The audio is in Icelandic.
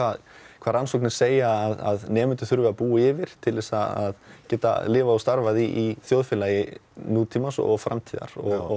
hvað rannsóknir segja að nemendur þurfi að búa yfir til þess að geta lifað og starfað í þjóðfélagi nútímans og framtíðar